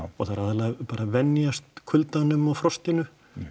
og það er aðallega bara að venjast kuldanum og frostinu